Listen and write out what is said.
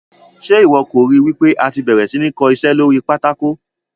Ṣe iwọ kò ri wipe àti bẹ̀rẹ̀ sí ní kó iṣẹ́ lórí pátákó?